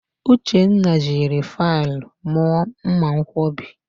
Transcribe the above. Uchenna jiri faịlụ mụọ mmanwkọbi